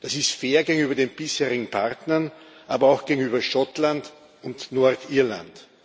Das ist fair gegenüber den bisherigen Partnern, aber auch gegenüber Schottland und Nordirland.